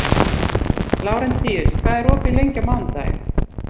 Lárentíus, hvað er opið lengi á mánudaginn?